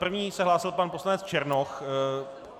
První se hlásil pan poslanec Černoch.